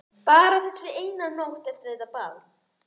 Bara þessi eina nótt eftir þetta ball.